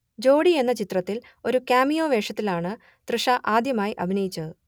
ജോഡി എന്ന ചിത്രത്തിൽ ഒരു കാമിയോ വേഷത്തിലാണ് തൃഷ ആദ്യമായി അഭിനയിച്ചത്